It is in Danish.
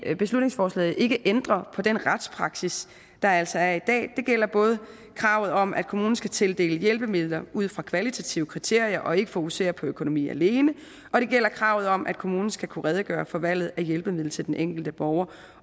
at beslutningsforslaget ikke ændrer på den retspraksis der altså er i dag det gælder både kravet om at kommunen skal tildele hjælpemidler ud fra kvalitative kriterier og ikke fokusere på økonomi alene og det gælder kravet om at kommunen skal kunne redegøre for valget af hjælpemiddel til den enkelte borger